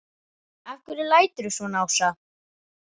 Af hverju læturðu svona Ásta?